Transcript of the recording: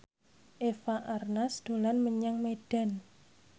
Eva Arnaz dolan menyang Medan